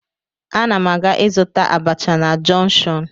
Ana m aga ịzụta abacha na jọnshọn